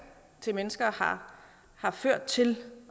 til mennesker har har ført til